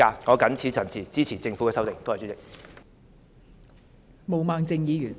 我謹此陳辭，支持政府的修正案。